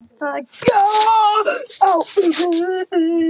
Það gekk á ýmsu.